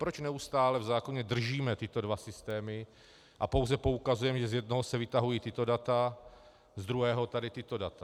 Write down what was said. Proč neustále v zákoně držíme tyto dva systémy a pouze poukazujeme, že z jednoho se vytahují tato data, z druhého tady tato data?